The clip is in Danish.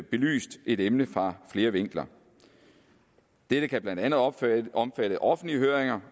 belyst et emne fra flere vinkler det kan blandt andet omfatte omfatte offentlige høringer